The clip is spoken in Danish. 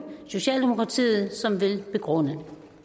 socialdemokratiet som vil begrunde